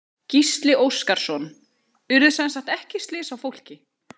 Gísli Óskarsson: Urðu semsagt ekki slys á fólki?